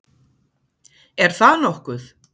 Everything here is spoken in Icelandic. Er það nokkuð?